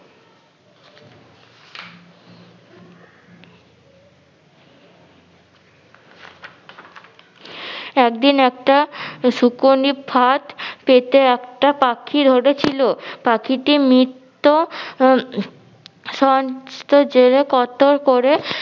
একদিন একটা সুকোননি ফাত পেতে একটা পাখি ধরে ছিল। পাখিটি মিত্ত